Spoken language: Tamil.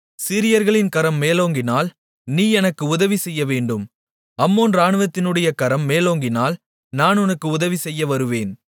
சீரியர்களின் கரம் மேலோங்கினால் நீ எனக்கு உதவிசெய்யவேண்டும் அம்மோன் இராணுவத்தினுடைய கரம் மேலோங்கினால் நான் உனக்கு உதவிசெய்ய வருவேன்